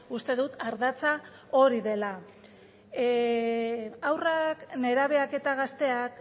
uste dut ardatza hori dela haurrak nerabeak eta gazteak